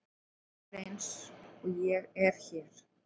Ég er eins og ég er hér.